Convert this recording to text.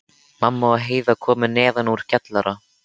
Mamma og Heiða komu neðan úr kjallara.